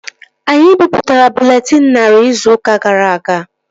Anyị bipụtara bụleetịn narị izu ụka gara aga